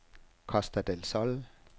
Costa del Sol